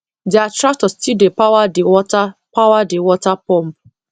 their tractor still dey power the water power the water pump